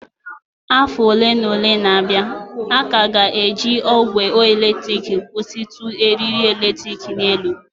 Afọ ole na ole na-abịa, a ka ga-eji ogwe eletrik kwụsịtụ eriri eletrik n'elu